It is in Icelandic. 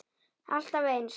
Alltaf eins!